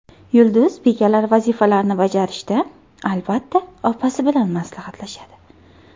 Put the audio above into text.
Yulduz bekalar vazifalarini bajarishda, albatta, opasi bilan maslahatlashadi.